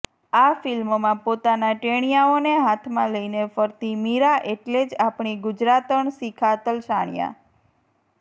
આ ફિલ્મમાં પોતાના ટેણિયાઓને હાથમાં લઈને ફરતી મીરા એટલે જ આપણી ગુજરાતણ શિખા તલસાણિયા